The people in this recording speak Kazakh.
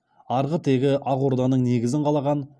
арғы тегі ақ орданың негізін қалаған